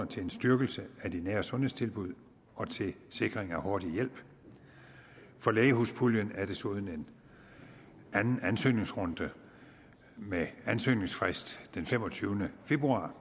til en styrkelse af de nære sundhedstilbud og til sikring af hurtig hjælp for lægehuspuljen er der desuden en anden ansøgningsrunde med ansøgningsfrist den femogtyvende februar